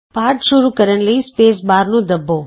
ਪਾਠ ਸ਼ੁਰੂ ਕਰਨ ਲਈ ਸਪੇਸ ਬਾਰ ਨੂੰ ਦੱਬੋ